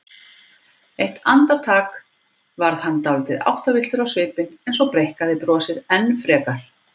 Eitt andartak varð hann dálítið áttavilltur á svipinn en svo breikkaði brosið enn frekar.